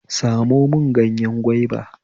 Samo mun gyanye gwaiba